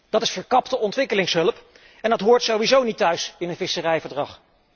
Dat is verkapte ontwikkelingshulp en dat hoort sowieso niet thuis in een visserijverdrag.